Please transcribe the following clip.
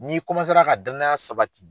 Ni i ka danaya sabati